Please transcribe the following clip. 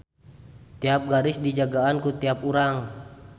Tiap garis dijagaan ku tiap urang.